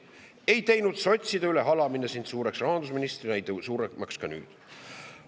Ei teinud sotside üle halamine sind suureks rahandusministrina, ei tee suuremaks ka nüüd.